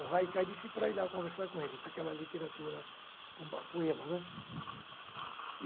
O Haikai disse para ir lá conversar com eles, aquela literatura com poema ãh